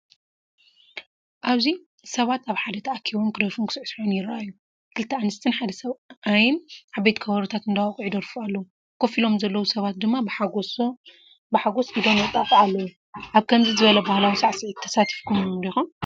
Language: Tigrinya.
ኣብዚ ሰባት ኣብ ሓደ ተኣኪቦም ክደርፉን ክስዕስዑን ይረኣዩ። ክልተ ኣንስትን ሓደ ሰብኣይን ዓበይቲ ከበሮታት እንዳወቅዑ ይደርፉ ኣለዉ፡ ኮፍ ኢሎም ዘለዉ ሰባት ድማ ብሓጎስ ኢዶም የጣቅዑ ኣለዉ። ኣብ ከምዚ ዝበለ ባህላዊ ሳዕስዒት ተሳቲፍኩም ዲኹም?